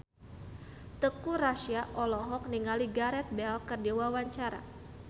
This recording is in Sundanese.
Teuku Rassya olohok ningali Gareth Bale keur diwawancara